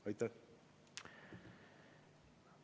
Aitäh!